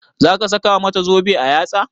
Za ka saka mata zobe a yatsa?